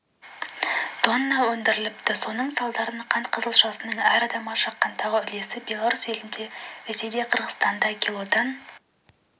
тонна өндіріліпті соның салдарынан қант қызылшасының әр адамға шаққандағы үлесі беларусь елінде ресейде қырғызстанда килодан